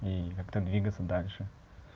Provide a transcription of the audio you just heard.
и как-то двигаться дальше